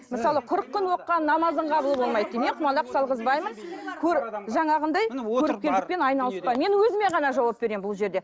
мысалы қырық күн оқыған намазың қабыл болмайды дейді иә құмалақ салғызбаймын жаңағындай көріпкелдікпен айналыспаймын мен өзіме ғана жауап беремін бұл жерде